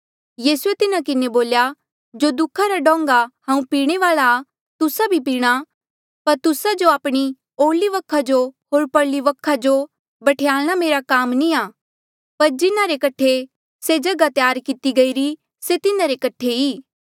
यीसूए तिन्हा किन्हें बोल्या जो दुखा रा डोंगा हांऊँ पीणे वाल्आ आ तुस्सा भी पीणा पर तुस्सा जो आपणे ओरली वखा जो होर परली वखा जो बठयाल्णा मेरा काम नी आ पर जिन्हारे कठे से जगहा त्यार किती गईरी से तिन्हारे कठे ई